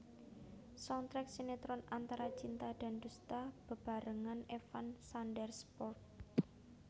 Soundtrack sinetron Antara Cinta dan Dusta bebarengan Evan Sanders prod